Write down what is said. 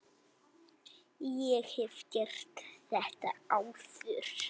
Ég hef gert þetta áður.